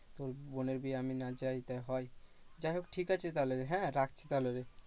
তোর বোনের বিয়ে আমি না যাই তাই হয়। যাই হোক ঠিক আছে তাহলে হ্যাঁ রাখছি তাহলে